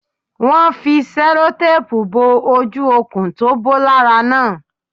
Won fi sẹ́lótápù bo ojú okùn tó bó lára náà